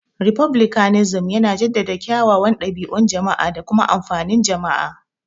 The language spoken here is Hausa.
Refublicanism yana jaddada kyawawan dabi'un jama'a da kuma amfanin jama'a.